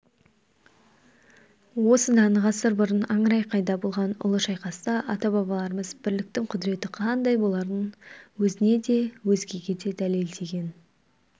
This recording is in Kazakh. осыдан ғасыр бұрын аңырақайда болған ұлы шайқаста ата-бабаларымыз бірліктің құдіреті қандай боларын өзіне де өзгеге де дәлелдеген